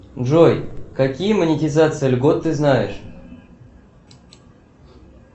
джой какие монетизации льгот ты знаешь